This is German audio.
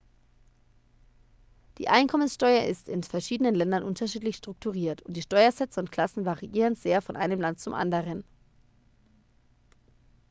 die einkommenssteuer ist in verschiedenen ländern unterschiedlich strukturiert und die steuersätze und klassen variieren sehr von einem land zum anderen